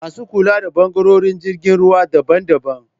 Masu kula da ɓangarorin jirgin ruwa daban daban